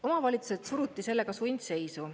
Omavalitsused suruti sellega sundseisu.